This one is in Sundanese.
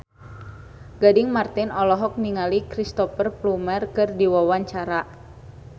Gading Marten olohok ningali Cristhoper Plumer keur diwawancara